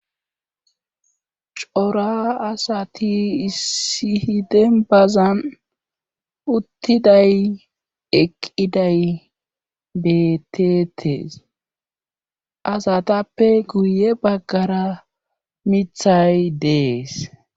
Cora asati issi hiden bazan uttiday eqqiday beeteetees asatappe guye baggara mithay dees.